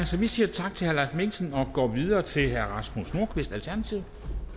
så vi siger tak til herre mikkelsen og går videre til herre rasmus nordqvist alternativet